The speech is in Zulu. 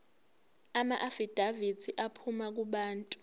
amaafidavithi aphuma kubantu